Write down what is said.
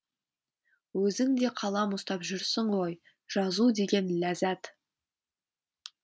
өзің де қалам ұстап жүрсің ғой жазу деген ләззат